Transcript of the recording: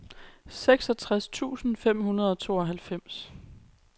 seksogtres tusind fem hundrede og tooghalvfems